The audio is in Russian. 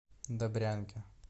добрянке